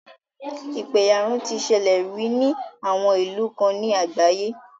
Ìpẹ̀yàrun ti ṣẹlẹ̀ rí ní àwọn ìlú kan ní àgbáyé.